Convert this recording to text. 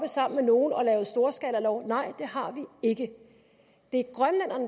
sammen med nogen og har lavet storskalalov nej det har vi ikke det